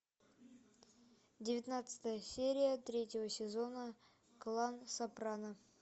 девятнадцатая серия третьего сезона клан сопрано